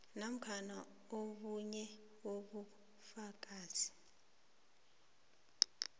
namkha obunye ubufakazi